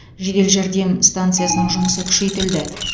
жедел жәрдем станциясының жұмысы күшейтілді